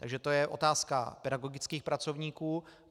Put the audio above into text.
Takže to je otázka pedagogických pracovníků.